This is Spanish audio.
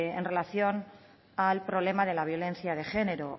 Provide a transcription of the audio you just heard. en relación al problema de la violencia de género